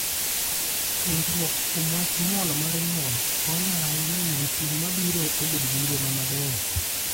Puonjruok kuom wach nyuol mar nyuol konyo ahinya e miyo tieng' mabiro obed gi ngima maber.